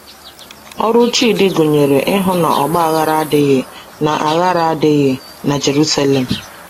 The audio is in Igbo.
Ọrụ Chidi gụnyere ịhụ na ọgba aghara adịghị na aghara adịghị na Jerusalem.